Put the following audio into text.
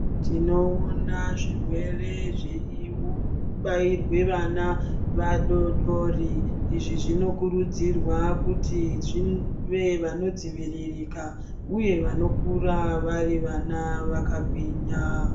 Tinoona zvirwere zveibairwe vana vadori dori. Izvi zvinokurudzirwa kuti zvive vanodziviririka uye vanokura vari vana vakagwinya.